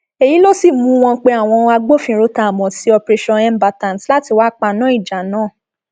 èyí ló sì mú wọn pe àwọn agbófinró tá a mọ sí operationmbatant láti wáá paná ìjà náà